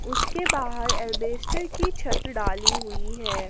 उसके बाहर अल्बेस्टर की छत डाली हुई है।